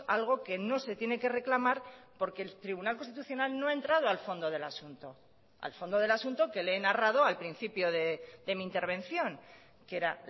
algo que no se tiene que reclamar porque el tribunal constitucional no ha entrado al fondo del asunto al fondo del asunto que le he narrado al principio de mi intervención que era